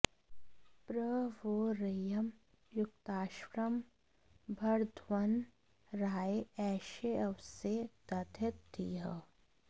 प्र वो॑ र॒यिं यु॒क्ताश्वं॑ भरध्वं रा॒य एषेऽव॑से दधीत॒ धीः